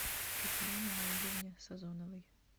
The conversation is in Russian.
татьяне наилевне сазоновой